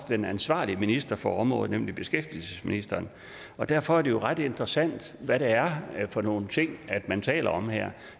den ansvarlige minister for området nemlig beskæftigelsesministeren og derfor er det jo ret interessant hvad det er for nogle ting man taler om her